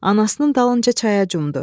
Anasının dalınca çaya cumdu.